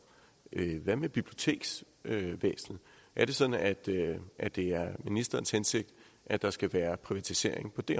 hvad med biblioteksvæsenet er det sådan at det er det er ministerens hensigt at der skal være privatisering på det